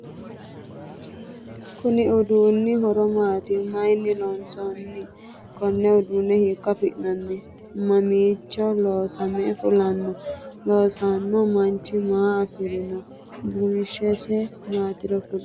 Konni uduunni horo maati? mayinni loonsanni? Konne uduune hiiko afi'nanni? Mamiicho loosame fulanno? Loosano manchi maa afirano? Bunshese maatiro kuli?